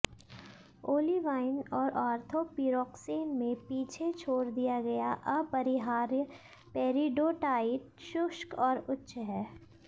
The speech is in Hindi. ओलिवाइन और ऑर्थोपीरोक्सेन में पीछे छोड़ दिया गया अपरिहार्य पेरिडोटाइट शुष्क और उच्च है